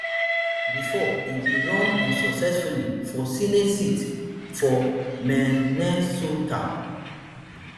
bifor e bin run unsuccessfully for senate seat for minnesota